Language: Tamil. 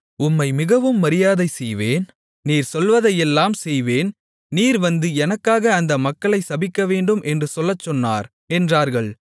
உம்மை மிகவும் மரியாதைசெய்வேன் நீர் சொல்வதையெல்லாம் செய்வேன் நீர் வந்து எனக்காக அந்த மக்களைச் சபிக்கவேண்டும் என்று சொல்லச்சொன்னார் என்றார்கள்